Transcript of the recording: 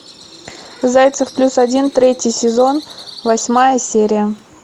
зайцев плюс один третий сезон восьмая серия